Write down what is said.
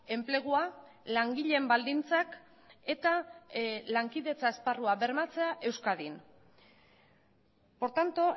enplegua langileen baldintzak eta lankidetza esparrua bermatzea euskadin por tanto